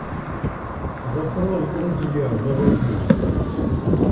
запрос в друзья заводи